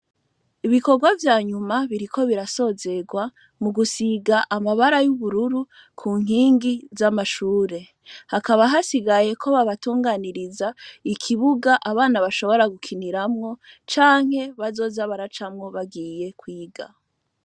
Ibikogwa vyanyuma biriko birasozegwa mu gusiga amabara y'ubururu kunkingi z'amashure, hakaba hasigayeko babatunganyiriza ikibuga abana bashobora gukiniramwo canke bazoza baracamwo bagiye kw'iga.